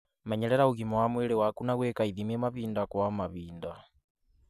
Menyerera ũgima wa mwĩrĩ waku na gwĩka ithimi mahinda kwa mahinda.